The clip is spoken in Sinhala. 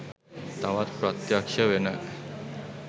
තවත් ප්‍රත්‍යක්ශ වෙන.